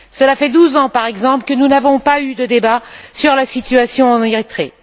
Cela fait douze ans, par exemple, que nous n'avons pas eu de débat sur la situation en Érythrée.